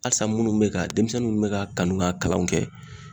Halisa minnu bɛ ka denmisɛnninw mɛ k'a kanu k'a kalanw kɛ